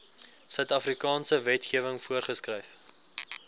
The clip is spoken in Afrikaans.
suidafrikaanse wetgewing voorgeskryf